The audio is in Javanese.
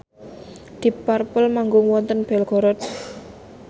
deep purple manggung wonten Belgorod